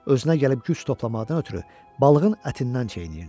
Özünə gəlib güc toplamaqdan ötrü balığın ətindən çeynəyirdi.